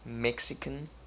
mexican